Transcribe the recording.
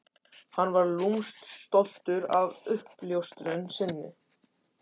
Hann var lúmskt stoltur af uppljóstrun sinni.